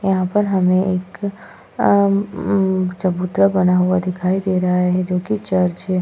यहां पर हमें एक अ अम चबूतरा बना हुआ दिखाई दे रहा है जो की एक चर्च है।